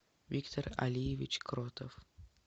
виктор алиевич кротов